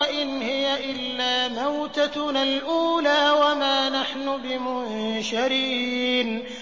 إِنْ هِيَ إِلَّا مَوْتَتُنَا الْأُولَىٰ وَمَا نَحْنُ بِمُنشَرِينَ